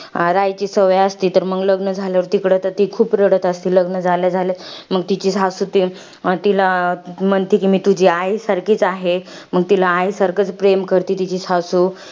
राहायची सवय असते. तर मंग, लग्न झाल्यावर तिकडं तर ती खूप रडत असते, लग्न झाल्या झाल्या. मंग तिची सासू तिला म्हणते, कि मी तुझी आई सारखीच आहे. मग तिला आईसारखीच प्रेम करते तिची सासू.